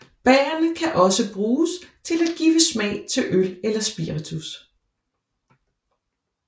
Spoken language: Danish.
Bærrene kan også bruges til at give smag til øl eller spiritus